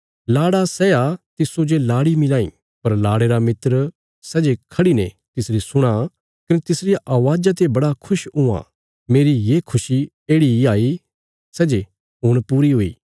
लाड़ालाड़ी ब्याह करी लें पर लाड़े रा मित्र खड़ा हुआं कने तिसजो सुणां कने सै लाड़े रिया अवाज़ा ते बड़ा खुश हुआं मेरी खुशी येढ़ि ही हाई कने हुण सै पूरी हुई